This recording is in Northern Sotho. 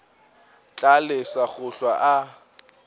tla lesa go hlwa a